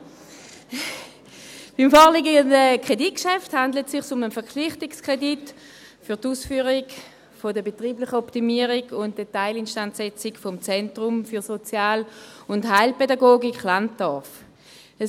Aber: Beim vorliegenden Kreditgeschäft handelt es sich um einen Verpflichtungskredit für die Ausführung der betrieblichen Optimierung und Teilinstandsetzung des Zentrums für Sozial- und Heilpädagogik Landorf Köniz (ZSHKK).